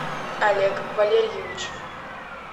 олег валерьевич